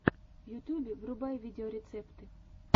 в ютубе врубай видеорецепты